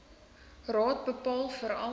raad bepaal verval